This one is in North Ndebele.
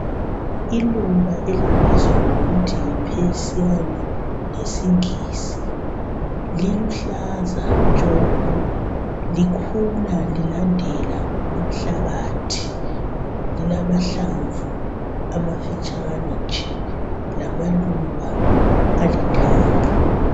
Iluba elibizwa ngokuthi yi pursulane ngesingisi liluhlaza tshoko likhula lilandela umhlabathi. Lilamahlamvu amafitshane nje lamaluba alithanga.